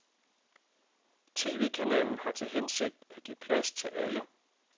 Tvkanalen har til hensigt at give plads til alle.